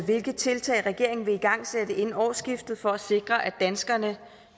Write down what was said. hvilke tiltag regeringen vil igangsætte inden årsskiftet for at sikre at danskerne